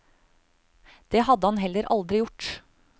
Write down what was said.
Det hadde han heller aldri gjort.